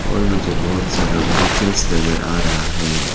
और मुझे बहोत सारा व्हीकल्स नजर आ रहा है।